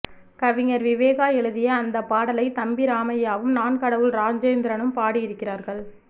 கவிஞர் விவேகா எழுதிய அந்தப் பாடலை தம்பி ராமைய்யாவும் நான் கடவுள் ராஜேந்திரனும் பாடி இருக்கிறார்கள்